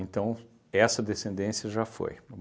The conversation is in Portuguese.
Então, essa descendência já foi.